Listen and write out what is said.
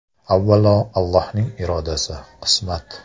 Avvalo Allohning irodasi, qismat.